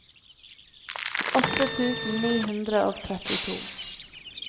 åtte tusen ni hundre og trettito